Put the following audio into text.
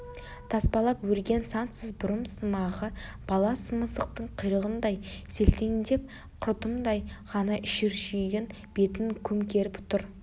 таспалап өрген сансыз бұрымсымағы бала мысықтың құйрығындай селтеңдеп құртымдай ғана шүршиген бетін көмкеріп тұр